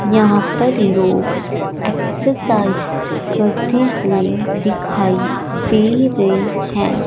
यहाँ पर लोग ॲक्ससाइज करते हुए दिखाई दे रहें हैं।